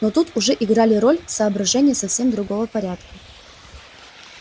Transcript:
но тут уже играли роль соображения совсем другого порядка